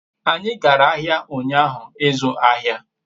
anyi gara ahia unyahu izu ahia